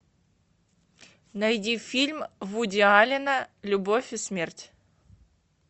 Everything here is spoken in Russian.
найди фильм вуди аллена любовь и смерть